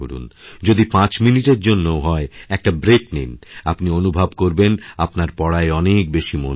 যদি পাঁচমিনিটের জন্যেও হয় একটা ব্রেক নিন আপনি অনুভব করবেন আপনার পড়ায় অনেক বেশি মনবসছে